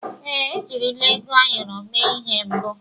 Èè, ejirila ego ayọrọ mee ihe mbụ.